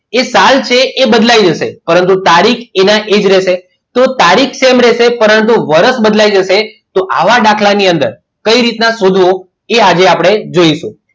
એ સાલ છે એ બદલાઈ જશે પરંતુ એ તારીખ એના એ જ રહેશે તો તારીખ same રહેશે પરંતુ વર્ષ બદલાઈ જશે તો આવા દાખલા ની અંદર કઈ રીતના શોધવું તે આજે આપણે જોઇશું